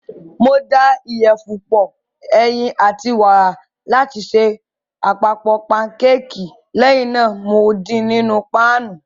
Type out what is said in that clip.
Mo da ìyẹ̀fun pọ, ẹyin, àti wàrà láti ṣe àpapọ̀ pankéèkì, lẹ́yìn náà mo din nínú páànù.